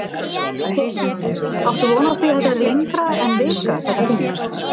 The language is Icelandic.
Heimir: Áttu von á því að þetta verði lengra en vika, þetta þing?